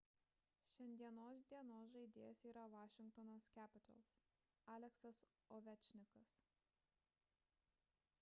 šiandienos dienos žaidėjas yra washington capitals aleksas ovečkinas